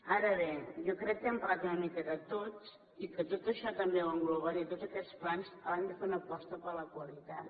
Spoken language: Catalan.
ara bé jo crec que hem parlat una mica de tot i que tot això també ho englobaré tots aquests plans hauran de fer una aposta per la qualitat